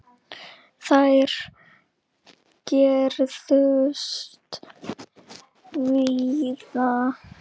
Þær gerðust víða.